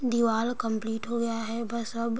दीवाल कम्प्लीट हो गया है बस अब --